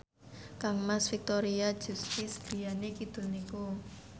kangmas Victoria Justice griyane kidul niku